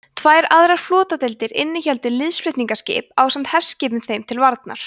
tvær aðrar flotadeildir innihéldu liðsflutningaskip ásamt herskipum þeim til varnar